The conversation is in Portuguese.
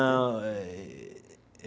Não eh.